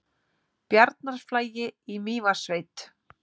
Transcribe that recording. Bjarnarflagi í Mývatnssveit.